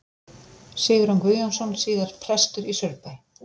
Sigurjón Guðjónsson, síðar prestur í Saurbæ.